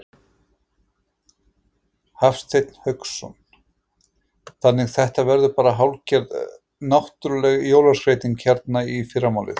Hafsteinn Hauksson: Þannig þetta verður bara hálfgerð náttúruleg jólaskreyting hérna í fyrramálið?